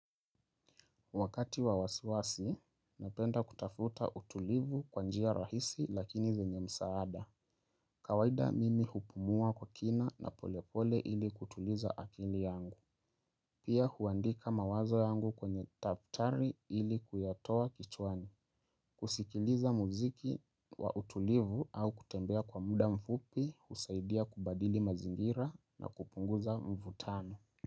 Wakati wa wasiwasi, napenda kutafuta utulivu kwa njia rahisi lakini zenye msaada. Kawaida mimi hupumua kwa kina na polepole ili kutuliza akili yangu. Pia huandika mawazo yangu kwenye taptari ili kuyatoa kichwani. Kusikiliza muziki wa utulivu au kutembea kwa muda mfupi husaidia kubadili mazingira na kupunguza mvutano.